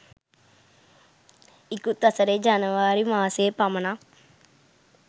ඉකුත් වසරේ ජනවාරි මාසයේ පමණක්